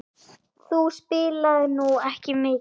Þú spilaðir nú ekki mikið?